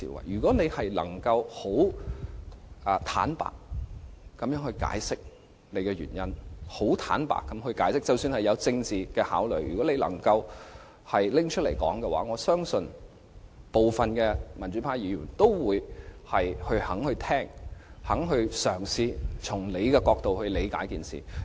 如果政府能坦白地解釋原因，即使是基於政治考慮，假如能開誠布公，我相信部分民主派議員仍會願意聆聽，願意嘗試從政府的角度理解此事。